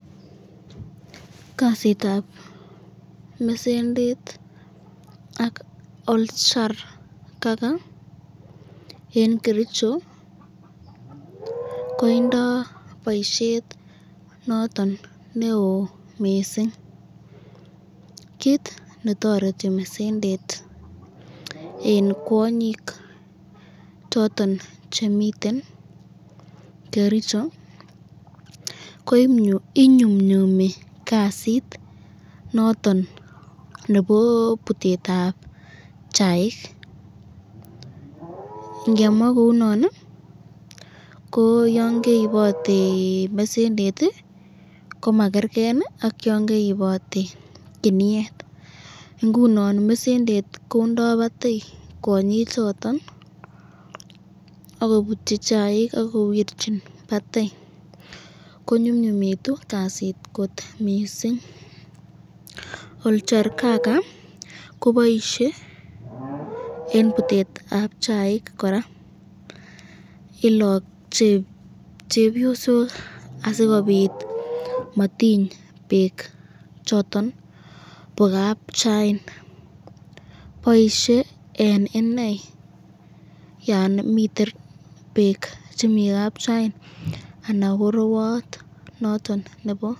Kasitab mesendet ak oljarkaka eng kericho koindo boisyet noton neo mising, kit netoreti mesendet eng kwanyik choton chemiten kericho, ko inyumnyumi kasit noton nebo butetab chaik ,ngemwa kounon ko yon keibote mesendet komakerken ak yon keibote kiniet , ingunon mesendet kondo batai kwanyik choton akobutyi chaik akowirchin batei ,konyumnyumitu kasit kot missing , oljarkaka ko Boise eng butetab chaik koraa ,ilache cheoyosok asikobit matiny bek choton bo kapchain ,baisye eng inei yan Chang bek kapchain anan ko rewat noton nebo...